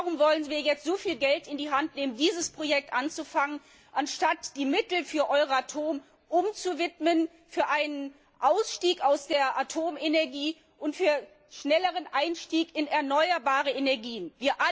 Warum wollen wir jetzt so viel Geld in die Hand nehmen, um dieses Projekt anzufangen, anstatt die Mittel für Euratom umzuwidmen für einen Ausstieg aus der Atomenergie und einen schnelleren Einstieg in erneuerbare Energiequellen?